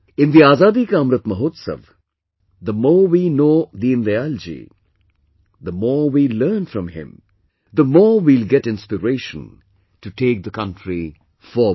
In the Azadi Ka Amrit Mahotsav, the more we know Deendayal ji, the more we learn from him, the more we will get inspiration to take the country forward